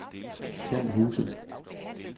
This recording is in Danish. Fjand Huse